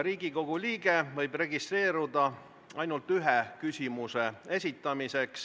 Riigikogu liige võib registreeruda ainult ühe küsimuse esitamiseks.